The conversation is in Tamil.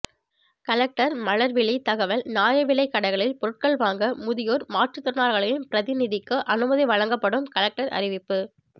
கலெக்டர் மலர்விழி தகவல் நியாய விலை கடைகளில் பொருட்கள் வாங்க முதியோர் மாற்றுதிறனாளிகளின் பிரதிநிதிக்கு அனுமதி வழங்கப்படும் கலெக்டர் அறிவிப்பு